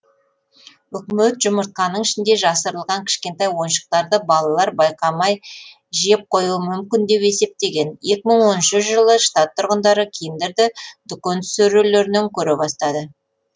үкімет жұмыртқаның ішінде жасырылған кішкентай ойыншықтарды балалар байқамай жеп қоюы мүмкін деп есептеген екі мың он үшінші жылы штат тұрғындары киндерді дүкен сөрелерінен көре бастады